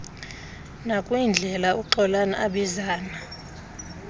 nakwindlela uxolani abizana